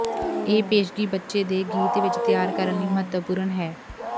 ਇਹ ਪੇਸ਼ਗੀ ਬੱਚੇ ਦੇ ਗੀਤ ਵਿਚ ਤਿਆਰ ਕਰਨ ਲਈ ਮਹੱਤਵਪੂਰਨ ਹੈ